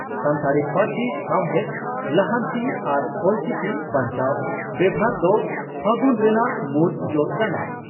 ᱥᱟᱱᱛᱟᱲᱤ ᱯᱟᱹᱨᱥᱤ ᱥᱟᱣᱦᱮᱫ ᱞᱟᱦᱟᱱᱛᱤ ᱟᱨ ᱚᱞᱪᱤᱠᱤ ᱵᱟᱧᱪᱟᱣ ᱵᱮᱵᱷᱟᱨ ᱫᱚ 'ᱯᱷᱟᱹᱜᱩᱱ' ᱨᱮᱱᱟᱜ ᱢᱩᱲ ᱡᱚᱥ ᱠᱟᱱᱟ ᱾